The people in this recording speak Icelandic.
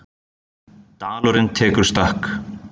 Dalurinn tekur stökk